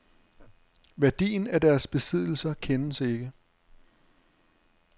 Værdien af deres besiddelser kendes ikke.